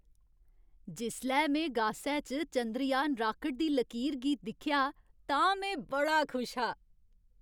जिसलै में गासै च चंद्रयान राकेट दी लकीर गी दिक्खेआ तां में बड़ा खुश हा।